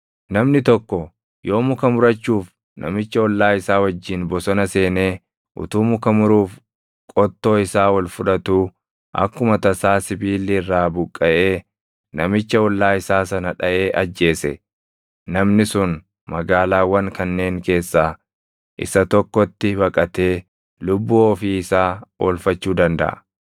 Namni tokko yoo muka murachuuf namicha ollaa isaa wajjin bosona seenee utuu muka muruuf qottoo isaa ol fudhatuu akkuma tasaa sibiilli irraa buqqaʼee namicha ollaa isaa sana dhaʼee ajjeese, namni sun magaalaawwan kanneen keessaa isa tokkotti baqatee lubbuu ofii isaa oolfachuu dandaʼa.